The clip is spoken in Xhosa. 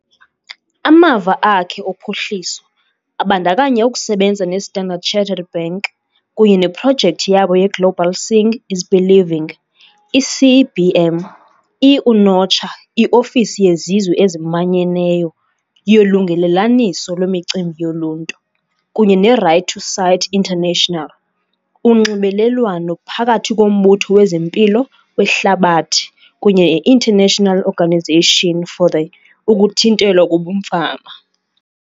Amava akhe ophuhliso abandakanya ukusebenza ne-Standard Chartered Bank kunye neprojekthi yabo ye-Global Seeing is Believing, i-CBM, i-UNOCHA, i-Ofisi yeZizwe eziManyeneyo yoLungelelaniso lweMicimbi yoLuntu, kunye ne-Right to Sight International, uNxibelelwano phakathi koMbutho wezeMpilo weHlabathi kunye ne-International Organization for the Ukuthintelwa kobumfama.